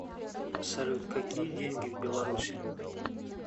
салют какие деньги в беларуси